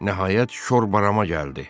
Nəhayət, şor bərama gəldi.